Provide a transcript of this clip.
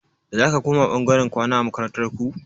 Zaka koma ɓangaren kwana a makarantar ku?